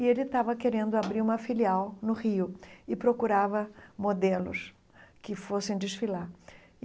e ele estava querendo abrir uma filial no Rio e procurava modelos que fossem desfilar.